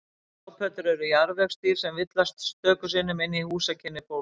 Grápöddur eru jarðvegsdýr en villast stöku sinnum inn í húsakynni fólks.